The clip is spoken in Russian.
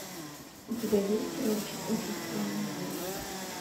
у тебя есть сериальчик очень странные дела